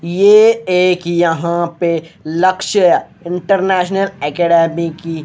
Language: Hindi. ये एक यहां पे लक्ष्य इंटरनेशनल एकाडमी की--